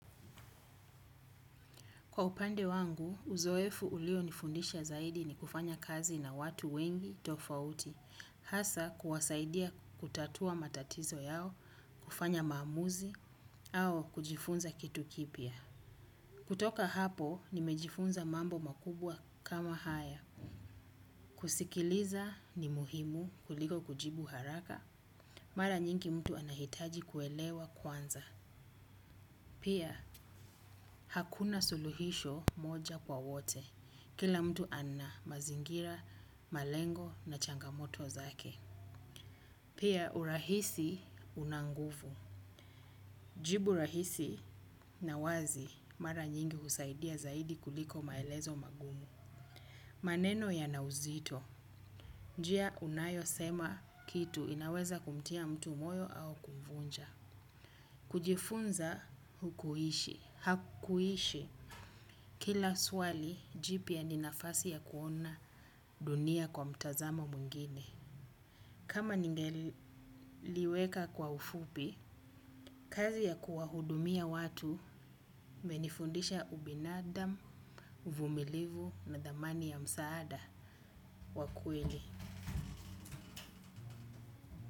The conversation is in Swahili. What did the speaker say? Kwa upande wangu, uzoefu ulio nifundisha zaidi ni kufanya kazi na watu wengi tofauti, hasa kuwasaidia kutatua matatizo yao, kufanya maamuzi, au kujifunza kitu kipya. Kutoka hapo, nimejifunza mambo makubwa kama haya. Kusikiliza ni muhimu kuliko kujibu haraka, mara nyingi mtu anahitaji kuelewa kwanza. Pia, hakuna suluhisho moja kwa wote. Kila mtu ana mazingira, malengo na changamoto zake. Pia, urahisi una nguvu. Jibu rahisi na wazi mara nyingi husaidia kuliko maelezo makuu. Maneno yana uzito. Njia unayo sema kitu inaweza kumtia mtu moyo au kumvunja. Kujifunza hakuishi. Kila swali jipya ni nafadi ya kuona dunia kwa mtazamo mwingine kama ningeliweka kwa ufupi, kazi ya kuwahudumia watu imenifundisha ubinadamu, uvumilivu na thamani ya msaada wa kweli.